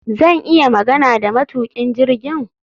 Zan iya magana da matukin jirgin?